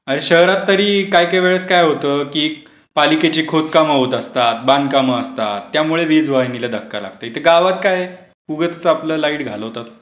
अरे शहरात तरी काय काय वेळेस काय होतं की पालिकेची खोदकाम होत असतात, बांधकाम असतात त्यामुळे वीज वाहिनीला धक्का लागतो इथे गावात काय? उगाच आपलं लाईट घालवतात.